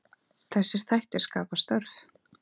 Þessir þættir skapi störf.